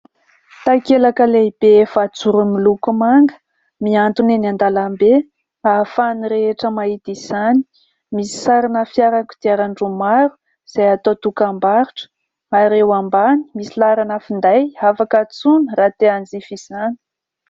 Takelaka lehibe efajoro miloko manga miantona eny an-dalambe, ahafahany rehetra mahita izany. Misy sarina fiara kodiaran-droa maro izay atao dokambarotra, ary eo ambany misy laharana finday afaka antsoina raha te hanjifa izany.